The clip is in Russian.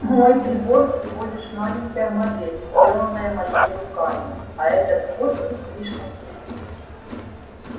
мой прибор всего лишь маленькая модель сделанная моими руками а этот посох слишком велик